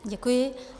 Děkuji.